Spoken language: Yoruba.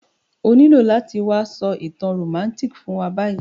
O nílo láti wa so ìtàn romantic fún wa bayi